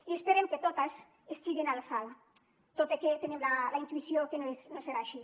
i esperem que totes estiguin a l’alçada tot i que tenim la intuïció que no serà així